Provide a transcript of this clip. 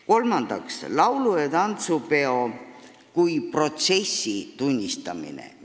Kolmandaks, laulu- ja tantsupeo liikumise kui protsessi tunnistamine.